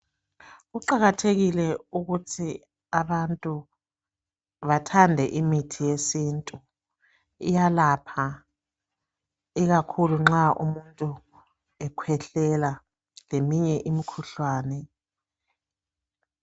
Kuqakathekile ukuthi abantu bathande imithi yesintu iyalapha ikakhulu nxa umuntu ekhwehlela leminye imikhuhlane.